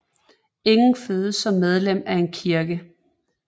Ingen fødes som medlem af en kirke